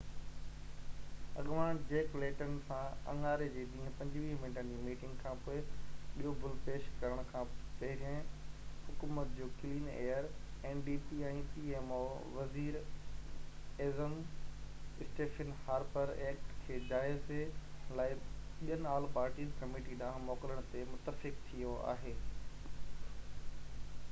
وزير ايظم Stephen Harper pmo ۾ ndp اڳواڻ جيڪ ليٽن سان اڱاري جي ڏينهن 25 منٽن جي ميٽنگ کانپوءِ ٻيو بل پيش ڪرڻ کان پهرين حڪومت جو ڪلين ايئر ايڪٽ کي جائزي لاءِ ٻين آل پارٽي ڪميٽي ڏانهن موڪلڻ تي متفق ٿيو آهي